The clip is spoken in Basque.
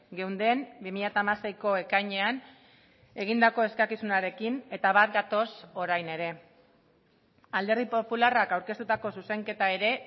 geunden bi mila hamaseiko ekainean egindako eskakizunarekin eta bat gatoz orain ere alderdi popularrak aurkeztutako zuzenketa ere